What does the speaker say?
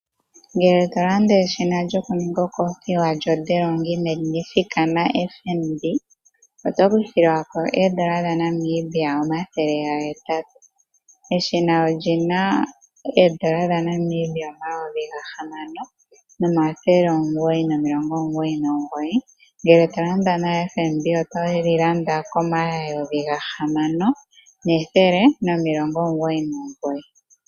Ngele to landa eshina lyokuninga okothiwa lyoDelonghi Magnifica naFNB oto kuthilwako oondola dhaNamibia omathele gahetatu. Eshina olyi na oondola dhaNamibia omayovi gahamano nomathele omugoyi nomilongo omugoyi nomugoyi, ngele to landa naFNB oto li landa komayovi gahamano nethele nomilongo omugoyi nomugoyi.